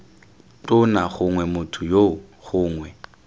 tona gongwe motho yoo gongwe